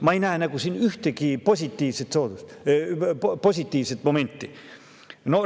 Ma ei näe siin ühtegi positiivset momenti.